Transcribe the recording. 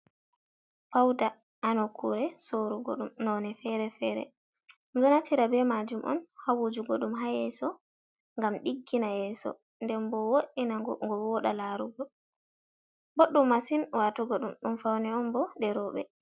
Fauda ha nukkore sorugo dum none fere-fere dum do naftira be majum on hawujugo dum ha yeso gam diggina yeso den bo woddina go woda larugo boddum masin watugo dum, dum fauni on bo je robe.